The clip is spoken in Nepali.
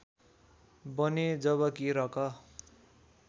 बने जबकि रक